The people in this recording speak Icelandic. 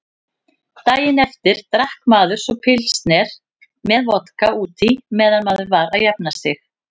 Daginn eftir drakk maður svo pilsner með vodka útí meðan maður var að jafna sig.